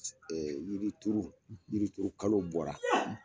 Ɛɛ yirituru, yirituru kalo bɔra.